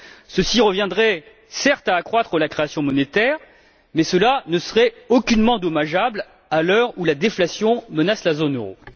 Ceci reviendrait certes à accroître la création monétaire, mais cela ne serait aucunement dommageable à l'heure où la déflation menace la zone euro.